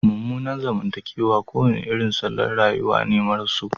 Mummunan zamantakewa kowane irin salon rayuwa ne maras so